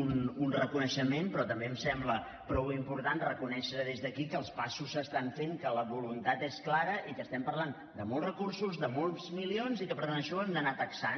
un reconeixement però també em sembla prou important reconèixer des d’aquí que els passos es fan que la voluntat és clara i que parlem de molts recursos de molts milions i que per tant això ho hem d’anar taxant